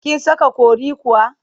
Kin saka curry kuwa?